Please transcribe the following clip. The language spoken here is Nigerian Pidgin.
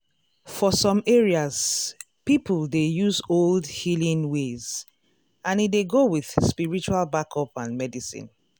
for some areas people dey use old healing ways and e dey go with spiritual backup and medicine.